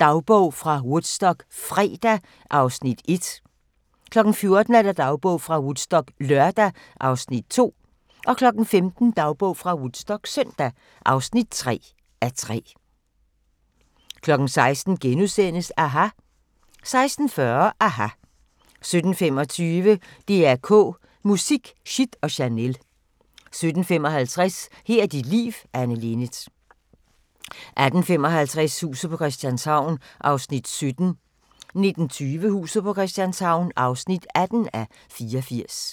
Dagbog fra Woodstock - fredag (1:3) 14:00: Dagbog fra Woodstock - lørdag (2:3) 15:00: Dagbog fra Woodstock - søndag (3:3) 16:00: aHA! * 16:40: aHA! 17:25: DR K Musik: Shit & Chanel 17:55: Her er dit liv – Anne Linnet 18:55: Huset på Christianshavn (17:84) 19:20: Huset på Christianshavn (18:84)